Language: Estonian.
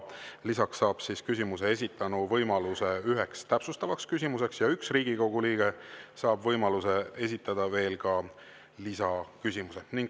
Lisaks saab küsimuse esitanu võimaluse esitada ühe täpsustava küsimuse ja üks Riigikogu liige saab võimaluse esitada veel ka lisaküsimuse.